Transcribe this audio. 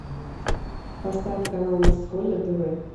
поставь канал мужской на тв